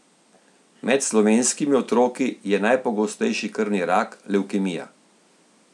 Med slovenskimi otroki je najpogostejši krvni rak, levkemija.